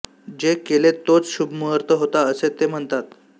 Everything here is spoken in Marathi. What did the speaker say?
जे केले तोच शुभमुहूर्त होता असे ते म्हणतात